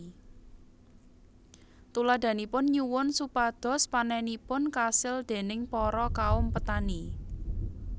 Tuladhanipun nyuwun supados panenipun kasil déning para kaum petani